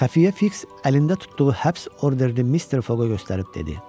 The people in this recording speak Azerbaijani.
Xəfiyyə Fiks əlində tutduğu həbs orderini Mister Foqa göstərib dedi: